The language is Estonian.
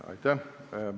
Aitäh!